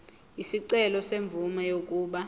isicelo semvume yokuba